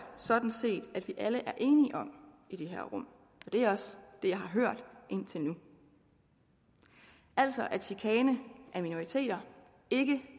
sådan set at vi alle er enige om i det her rum og det er også det jeg har hørt indtil nu altså at chikane af minoriteter ikke